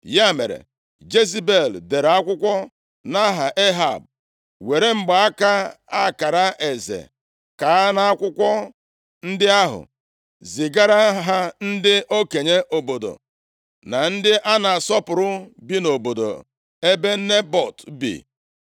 Ya mere, Jezebel dere akwụkwọ nʼaha Ehab, were mgbaaka akara eze kaa nʼakwụkwọ ndị ahụ, zigara ha ndị okenye obodo na ndị a na-asọpụrụ bi nʼobodo ebe Nebọt bi.